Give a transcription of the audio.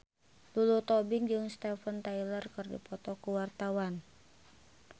Lulu Tobing jeung Steven Tyler keur dipoto ku wartawan